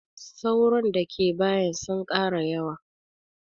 Sauron da ke bayin sun ƙara yawa